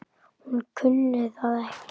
Hún kunni það ekki.